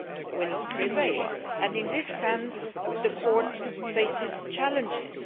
will prevail and, in this sense, the Court faces challenges.